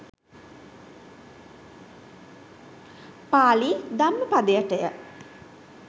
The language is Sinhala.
පාලි ධම්මපදයටය.